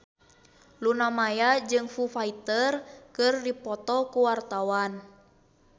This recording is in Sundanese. Luna Maya jeung Foo Fighter keur dipoto ku wartawan